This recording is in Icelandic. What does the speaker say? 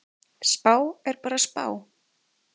Spá er bara spá.